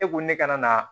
E ko ne kana na